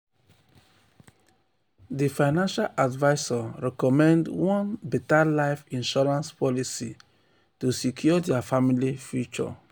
di financial advisor recommend one better life insurance policy um to secure dia family future.